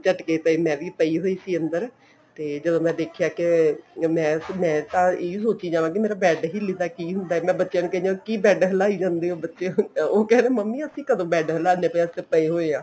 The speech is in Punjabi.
ਝਟਕੇ ਪਏ ਮੈਂ ਵੀ ਪਈ ਹੋਈ ਸੀ ਅੰਦਰ ਤੇ ਜਦੋਂ ਮੈਂ ਦੇਖਿਆ ਕੇ ਮੈਂ ਤਾਂ ਮੈਂ ਤਾਂ ਇਹੀ ਸੋਚੀ ਜਾਵਾਂ bed ਹਿਲਦਾ ਕੀ ਹੁੰਦਾ ਬੱਚਿਆਂ ਨੂੰ ਕਹਿੰਦੀ ਕੀ bed ਹਿਲਾਈ ਜਾਂਦੇ ਹੋ ਬੱਚਿਓ ਉਹ ਕਹਿਣ ਮੰਮੀ ਅਸੀਂ ਕਦੋਂ bed ਹਿਲਾਂਦੇ ਪਏ ਹਾਂ ਅਸੀਂ ਤਾਂ ਪਏ ਹੋਏ ਹਾਂ